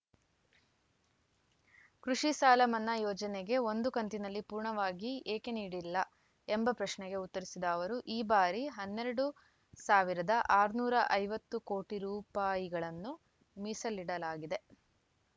ಕೃಷಿ ಸಾಲ ಮನ್ನಾ ಯೋಜನೆಗೆ ಒಂದು ಕಂತಿನಲ್ಲಿ ಪೂರ್ಣವಾಗಿ ಏಕೆ ನೀಡಿಲ್ಲ ಎಂಬ ಪ್ರಶ್ನೆಗೆ ಉತ್ತರಿಸಿದ ಅವರು ಈ ಬಾರಿ ಹನ್ನೆರಡು ಆರುನೂರ ಐವತ್ತು ಕೋಟಿ ರುಪಾಯಿಗಳನ್ನು ಮೀಸಲಿಡಲಾಗಿದೆ